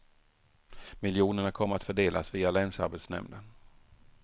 Miljonerna kommer att fördelas via länsarbetsnämnden.